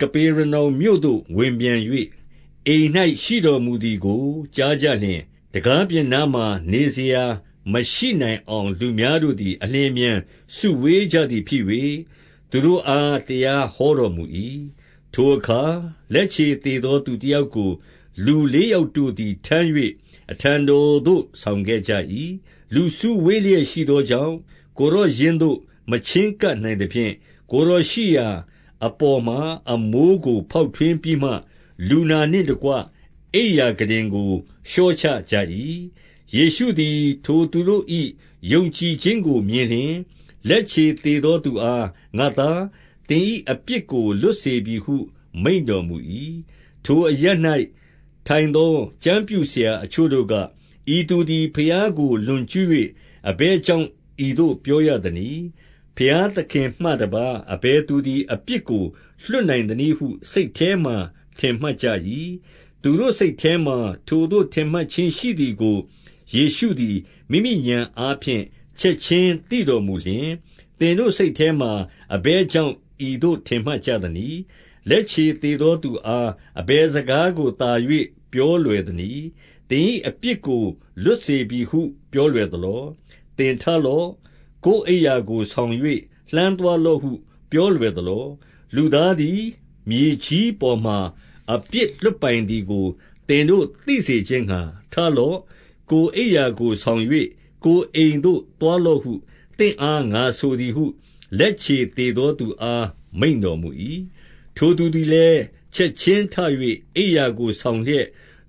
က ပေရနောင်မြို့သို့ဝင်ပြန်၍ အိမ်၌ရှိတော်မူသည်ကို ကြားကြ လျှင်၊ 2 တံခါးပြင်နားမှာ နေစရာမရှိနိုင်အောင် လူများတို့သည် အလျင်အမြန်စုဝေးကြသည်ဖြစ်၍ သူတို့အား တရားဟောတော်မူ၏။ 3 ထိုအခါ လက်ခြေသေသောသူတယောက်ကို လူလေးယောက်တို့သည်ထမ်း၍ အထံတော်သို့ဆောင်ခဲ့ ကြ၏။ 4 လူစုဝေးလျက်ရှိသောကြောင့် ကိုယ်တော်ရင်းသို့မချဉ်းကပ်နိုင်သဖြင့်၊ ကိုယ်တော်ရှိရာအပေါ်မှာ အမိုး ကို ဖောက်ထွင်းပြီးမှ လူနာနှင့်တကွ အိမ်ရာခုတင်ကို လျှော့ချကြ၏။ 5 ယေရှုသည် ထိုသူတို့၏ ယုံကြည်ခြင်းကိုမြင်လျှင်၊ လက်ခြေသေသောသူအား၊ ငါ့သား၊ သင်၏ အပြစ်ကို လွတ်စေပြီဟုမိန့်တော်မူ၏။ 6 ထိုအရပ်၌ထိုင်သော ကျမ်းပြုဆရာအချို့တို့က၊ 7 ဤသူသည် ဘုရားကိုလွန်ကျူး၍ အဘယ်ကြောင့် ဤသို့ပြောရသနည်း။ ဘုရားသခင်မှတပါး အဘယ် သူသည် အပြစ်ကိုလွှတ်နိုင်သနည်းဟု စိတ်ထဲမှာ ထင်မှတ်ကြ၏။ 8 သူတို့စိတ်ထဲမှာ ထိုသို့ ထင်မှတ်ခြင်းရှိသည်ကို ယေရှုသည် မိမိဉာဏ်အားဖြင့် ချက်ခြင်းသိတော်မူလျှင်၊ သင်တို့ စိတ်ထဲမှာ အဘယ်ကြောင့် ဤသို့ထင်မှတ်ကြသနည်း။ 9 လက်ခြေသေသောသူအား အဘယ်စကားကိုသာ၍ပြောလွယ်သနည်း။ သင်၏အပြစ်ကိုလွတ်စေပြီဟု ပြောလွယ်သလော။ သင်ထလော့။ ကိုယ်အိပ်ရာကိုဆောင်၍ လှမ်းသွားလော့ဟု ပြောလွယ်သလော။ 10 လူသားသည် မြေကြီးပေါ်မှာ အပြစ်လွှတ်ပိုင်သည်ကို သင်တို့သိစေခြင်းငှါ ထလော့။ 11 ကိုယ်အိပ်ရာကို ဆောင်၍ ကိုယ်အိမ်သို့သွားလော့ဟု သင့်အား၊ ငါဆိုသည်ဟု လက်ခြေသေသောသူ အား မိန့်တော်မူ၏။ 12 ထိုသူသည်လည်း ချက်ခြင်းထ၍ အိပ်ရာကိုဆောင်လျက်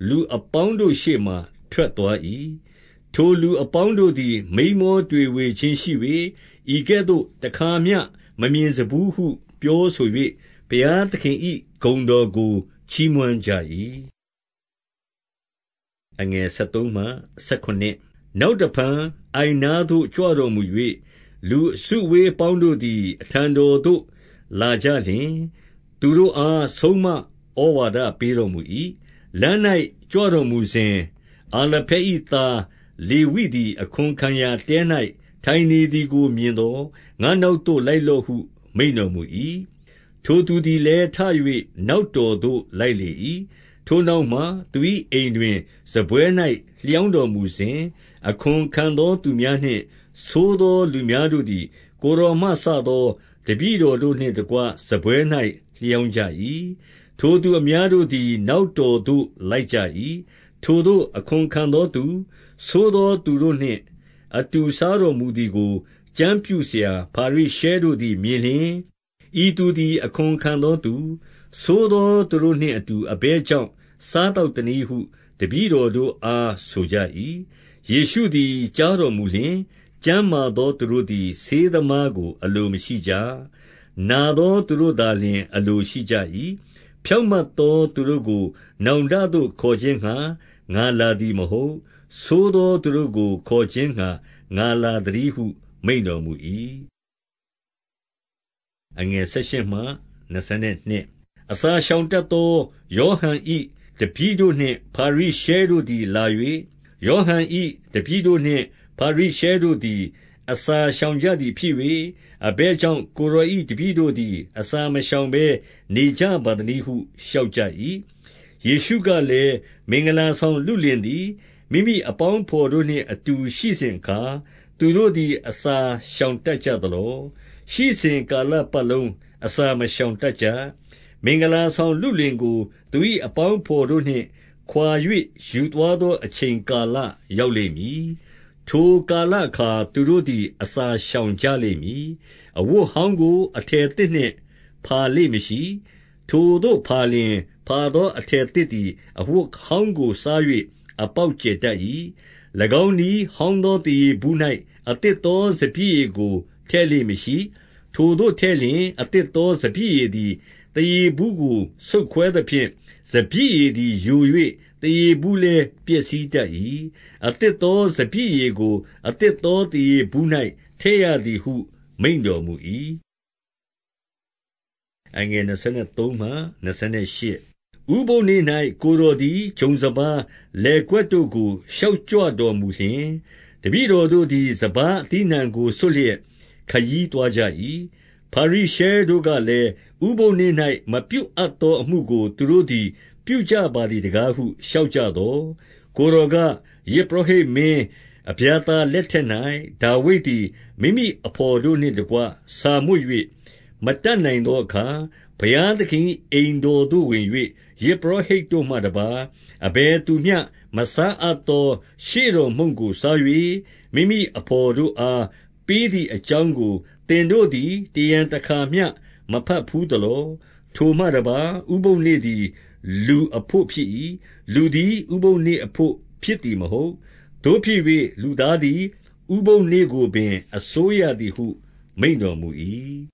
လူအပေါင်းတို့ရှေ့မှာထွက်သွား၏။ ထိုလူ အပေါင်းတို့သည် မိန်းမောတွေဝေခြင်းရှိ၍၊ ဤကဲ့သို့ တခါမျှမမြင်စဖူးဟု ပြောဆို၍ ဘုရားသခင်၏ဂုဏ်တော် ကို ချီးမွမ်းကြ၏။ 13 နောက်တဖန် အိုင်နားသို့ ကြွတော်မူ၍၊ လူအစုအဝေးအပေါင်းတို့သည် အထံတော်သို့လာကြလျှင်၊ သူတို့အား ဆုံးမဩဝါဒပေးတော်မူ၏။ 14 လမ်း၌ကြွတော်မူစဉ်၊ အာလဖဲ၏သား လေဝိသည် အခွန်ခံရာတဲ၌ထိုင်နေသည်ကိုမြင်သော်၊ ငါ့နောက် သို့ လိုက်လော့ဟု မိန့်တော်မူ၏။ 15 ထိုသူသည်လည်း ထ၍ နောက်တော်သို့လိုက်လေ၏။ ထိုနောက်မှ သူ၏အိမ်တွင် စားပွဲ၌ လျောင်း တော်မူစဉ်၊ အခွန်ခံသောသူများနှင့် ဆိုးသောသူများတို့သည် ကိုယ်တော်မှစသော တပည့်တော်တို့နှင့်တကွ စားပွဲ၌ လျောင်းကြ၏။ ထိုသူအများတို့သည် နောက်တော်သို့လိုက်ကြ၏။ 16 ထိုသို့ အခွန်ခံသောသူ၊ ဆိုးသောသူတိုနှင့်အတူ စားတော်မှုသည်ကို ကျမ်းပြုဆရာဖာရိရှဲတို့သည် မြင် လျှင်၊ ဤသူသည် အခွန်ခံသောသူ၊ ဆိုးသောသူတို့နှင့်အတူ အဘယ်ကြောင့် စားသောက်သနည်းဟု တပည့် တော်တို့အား ဆိုကြ၏။ 17 ယေရှုသည် ကြားတော်မူလျှင်၊ ကျန်းမာသောသူတို့သည် ဆေးသမားကိုအလိုမရှိကြ။ နာသောသူတို့ သာလျှင် အလိုရှိကြ၏။ ဖြောင့်မတ်သောသူတို့ကို နောင်တသို့ခေါ်ခြင်းငှါ ငါလာသည်မဟုတ်၊ ဆိုးသောသူတို့ကို ခေါ်ခြင်းငှါ ငါလာသတည်းဟု မိန့်တော်မူ၏။ 18 အစာရှောင်တတ်သော ယောဟန်၏တပည့်တို့နှင့် ဖာရိရှဲတို့သည်လာ၍၊ ယောဟန်၏တပည့်တို့နှင့် ဖာရိရှဲတို့သည် အစာရှောင်ကြသည်ဖြစ်၍၊ အဘယ်ကြောင့် ကိုယ်တော်၏တပည့်တို့သည် အစာမရှောင်ဘဲ နေ ကြပါသနည်းဟု လျှောက်ကြ၏။ 19 ယေရှုကလည်း၊ မင်္ဂလာဆောင်လုလင်သည် မိမိအပေါင်းအဘော်တို့နှင့် အတူရှိစဉ်အခါ သူတို့သည် အစာရှောင်တတ်ကြသလော။ ရှိစဉ်ကာလပတ်လုံး အစာမရှောင်တတ်ကြ။ 20 မင်္ဂလာဆောင်လုလင်ကို သူ၏အပေါင်းအဘော်တို့နှင့်ခွာ၍ ယူသွားသောအချိန်ကာလ ရောက်လိမ့် မည်။ ထိုကာလအခါ သူတို့သည်အစာရှောင်ကြလိမ့်မည်။ 21 အဝတ်ဟောင်းကို အထည်သစ်နှင့် ဖာလေ့မရှိ။ ထိုသို့ဖာလျှင် ဖာသောအထည်သစ်သည် အဝတ် ဟောင်းကို စား၍အပေါက်ကျယ်တတ်၏။ 22 ၎င်းနည်းဟောင်းသော သားရေဘူး၌ အသစ်သောစပျစ်ရည်ကို ထည့်လေ့မရှိ။ ထိုသို့ထည့်လျှင် အသစ်သောစပျစ်ရည်သည် သားရေဘူးကို ဆုတ်ခွဲသဖြင့် စပျစ်ရည်သည်ယို၍ သားရေဘူးလည်း ပျက်စီး တတ်၏။ အသစ်သောစပျစ်ရည်ကို အသစ်သောသားရေဘူး၌ ထည့်ရသည်ဟု မိန့်တော်မူ၏။ 23 ဥပုသ်နေ့၌ ကိုယ်တော်သည် ဂျုံစပါးလယ်ကွက်တို့ကို ရှောက်ကြွတော်မူလျှင်၊ တပည့်တော်တို့သည် စပါးအသီးအနှံကို ဆွတ်လျက် ခရီးသွားကြ၏။ 24 ဖာရိရှဲတို့ကလည်း၊ ဥပုသ်နေ့၌ မပြုအပ်သောအမှုကို သူတို့သည် ပြုကြပါသည်တကားဟု လျှောက်ကြ သော်၊ 25 ကိုယ်တော်က၊ ယဇ်ပုရောဟိတ်မင်း အဗျာသာ လက်ထက်၌ ဒါဝိဒ်သည် မိမိအဘော်တို့နှင့်တကွ ဆာ မွတ်၍ မတတ်နိုင်သောအခါ၊ 26 ဘုရားသခင်၏အိမ်တော်သို့ဝင်၍ ယဇ်ပုရောဟိတ်တို့မှတပါး အဘယ်သူမျှ မစားအပ်သော ရှေ့တော် မုန့်ကိုစား၍ မိမိအဘော်တို့အား ပေးသည်အကြောင်းကို သင်တို့သည် တရံတခါမျှ မဘတ်ဘူးသလော။ 27 ထိုမှတပါး ဥပုသ်နေ့သည် လူအဘို့ဖြစ်၏။ လူသည် ဥပုသ်နေ့အဘို့ ဖြစ်သည်မဟုတ်။ 28 သို့ဖြစ်၍ လူသားသည်ဥပုသ်နေ့ကိုပင် အစိုးရသည်ဟု မိန့်တော်မူ၏။